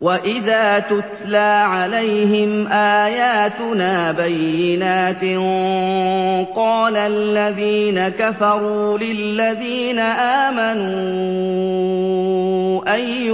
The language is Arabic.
وَإِذَا تُتْلَىٰ عَلَيْهِمْ آيَاتُنَا بَيِّنَاتٍ قَالَ الَّذِينَ كَفَرُوا لِلَّذِينَ آمَنُوا أَيُّ